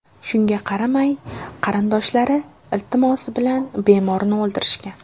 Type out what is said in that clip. Shunga qaramay, qarindoshlari iltimosi bilan bemorni o‘ldirishgan.